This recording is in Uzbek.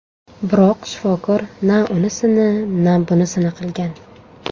Biroq shifokor na unisini, na bunisini qilgan.